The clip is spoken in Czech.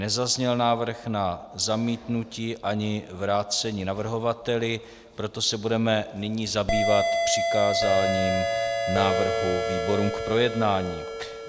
Nezazněl návrh na zamítnutí ani vrácení navrhovateli, proto se budeme nyní zabývat přikázáním návrhu výborům k projednání.